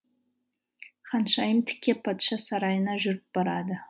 ханшайым тіке патша сарайына жүріп барады